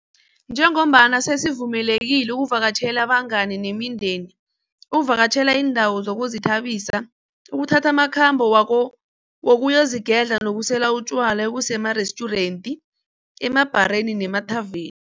Njengombana sesivumelekile ukuvakatjhela abangani nemindeni, ukuvakatjhela iindawo zokuzithabisa, ukuthatha amakhambo wokuyozigedla nokusela utjwala emarestjurenti, emabhareni nemathaveni.